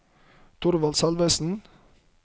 Thorvald Salvesen